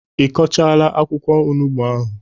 Ị kọchaala akwụkwọ onugbu ahụ?